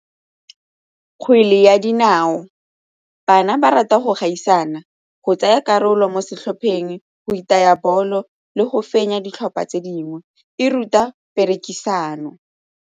Kgwele ya dinao, bana ba rata go gaisana, go tsaya karolo mo setlhopheng, go itaya bolo le go fenya ditlhopha tse dingwe, e ruta perekisano.